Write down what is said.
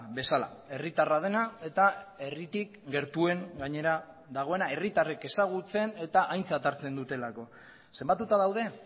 bezala herritarra dena eta herritik gertuen gainera dagoena herritarrek ezagutzen eta aintzat hartzen dutelako zenbatuta daude